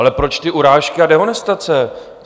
Ale proč ty urážky a dehonestace?